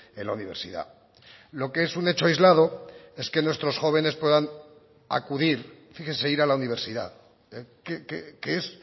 en la universidad lo que es un hecho aislado es que nuestros jóvenes puedan acudir fíjese ir a la universidad que es